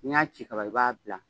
N 'i y'a ci kaban i b'a bila